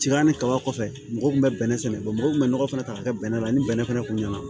Tiga ani kaba kɔfɛ mɔgɔw kun bɛ bɛnɛ sɛnɛ mɔgɔw kun bɛ nɔgɔ fana ta ka kɛ bɛnɛ la ni bɛnɛ fɛnɛ kun nana